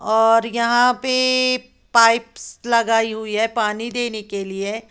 और यहां पे पाइप्स लगाई हुई है पानी देने के लिए।